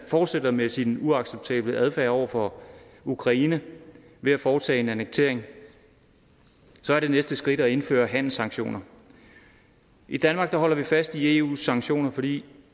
fortsætter med sin uacceptable adfærd over for ukraine ved at foretage en annektering er det næste skridt er at indføre handelssanktioner i danmark holder vi fast i eus sanktioner fordi